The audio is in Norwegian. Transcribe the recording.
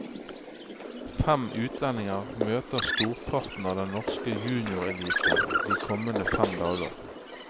Fem utlendinger møter storparten av den norske juniorelite de kommende fem dager.